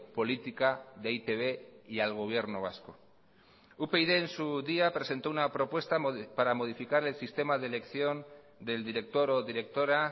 política de e i te be y al gobierno vasco upyd en su día presentó una propuesta para modificar el sistema de elección del director o directora